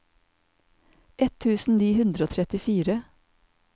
ett tusen ni hundre og trettifire